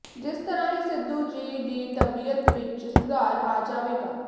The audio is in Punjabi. ਜਿਸ ਤਰ੍ਹਾਂ ਹੀ ਸਿੱਧੂ ਜੀ ਦੀ ਤਬੀਅਤ ਵਿੱਚ ਸੁਧਾਰ ਆ ਜਾਵੇਗਾ